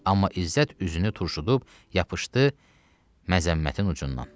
Amma İzzət üzünü turşudub yapışdı məzəmmətin ucundan.